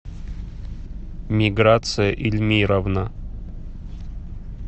миграция эльмировна